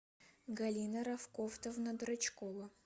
галина рафкатовна драчкова